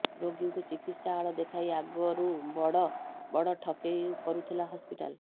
ରୋଗୀଙ୍କୁ ଚିକିତ୍ସା ଆଳ ଦେଖାଇ ଆଗରୁ ବଡ଼ ବଡ଼ ଠକେଇ କରୁଥିଲା ହସ୍ପିଟାଲ